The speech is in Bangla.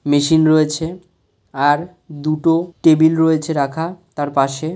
মেশিন রয়েছে আর দুটো টেবিল রয়েছে রাখা তার পাশে --